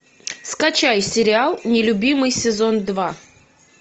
скачай сериал нелюбимый сезон два